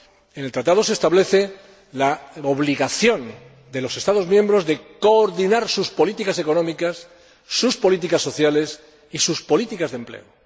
En el Tratado se establece la obligación de los Estados miembros de coordinar sus políticas económicas, sus políticas sociales y sus políticas de empleo.